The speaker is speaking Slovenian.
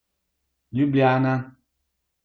Ljubljana.